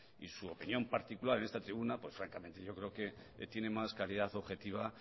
y su opinión particular en esta tribuna pues francamente yo creo que tiene más calidad objetiva